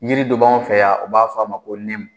Yiri dɔ b'anw fɛ yan u b'a fɔ a ma ko nɛmu